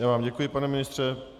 Já vám děkuji, pane ministře.